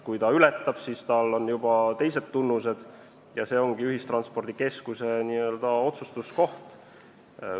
Kui ta ületab, siis on tal juba teised tunnused ja see on ühistranspordikeskuse otsustuskoht.